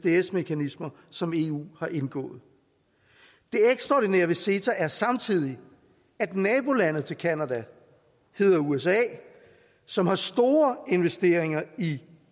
isds mekanismer som eu har indgået det ekstraordinære ved ceta er samtidig at nabolandet til canada hedder usa som har store investeringer i